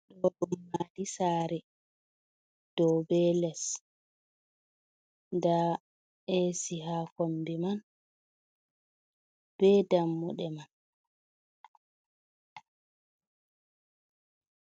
Ɗo bo maadi saare dow be les, ndaa eesi haa kombi man, be dammuɗe man.